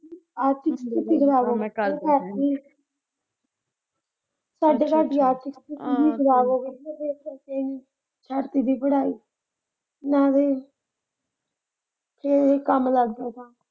ਐਤਕੀਂ ਪੂਰੀ ਕਰਾ ਦੇਣੀ ਸਾਡੇ ਘਰ ਦੀ ਆਰਥਿਕ ਸਥਿਤੀ ਖਰਾਬ ਜਿਸ ਕਰਕੇ ਐਤਕੀਂ ਦੀ ਪੜ੍ਹਾਈ ਰਹਿ ਗਈ ਫਿਰ ਇਹ ਕੰਮ ਲੱਗ ਜਾਏਗਾ।